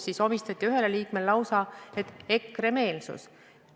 Ometi omistati ühele liikmele lausa EKRE-meelsus.